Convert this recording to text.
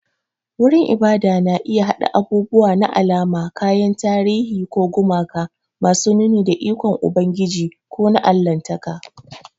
Wurin ibada na iya haɗa abubuwa na alama, kayan tarihi, ko gumaka masu nuni da ikon Ubangiji ko na Allahntaka.